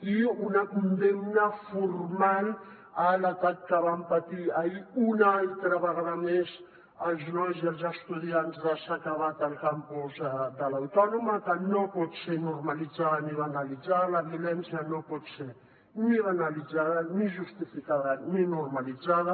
i una condemna formal a l’atac que van patir ahir una altra vegada més els nois i els estudiants de s’ha acabat al campus de l’autònoma que no pot ser normalitzada ni banalitzada la violència no pot ser ni banalitzada ni justificada ni normalitzada